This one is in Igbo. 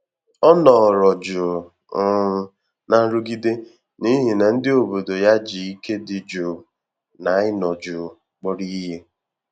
Ọ́ nọ́rọ jụ́ụ̀ um nà nrụ́gídé n’íhí nà ndị́ òbòdò yá jì íké dị́ jụ́ụ̀ nà ị́nọ jụ́ụ̀ kpọ́rọ ìhè.